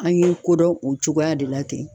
An ye ko dɔn o cogoya de la ten.